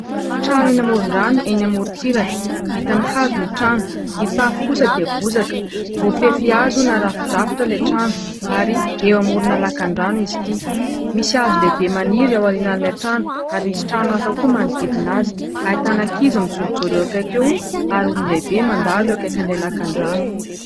Trano eny amoron-drano eny amorontsiraka. Vita ny hazo ny trano? ny tafo kosa dia bozaka. Voafefy hazo narafidrafitra ilay trano ary eo amorona lakandrano izy ity. Misy hazo lehibe maniry ao aorianan'ilay trano ary misy trano hafa koa manodidina azy. Ahitana ankizy mijorojoro eo akaiky eo ary olon-dehibe mandalo eo akaikin'ilay lakandrano.